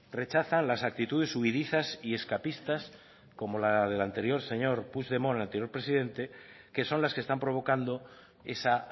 rechazan las actitudes huidizas y escapistas como la del señor puigdemont anterior presidente que son las que están provocando esa